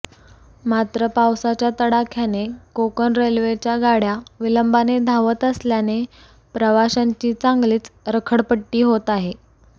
मात्र पावसाच्या तडाख्याने कोकण रेल्वेच्या गाड्या विलंबाने धावत असल्याने प्रवाशांची चांगलीच रखडपट्टी होत आहे